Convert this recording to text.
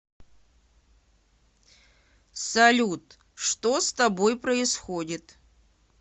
салют что с тобой происходит